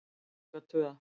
Taka tvö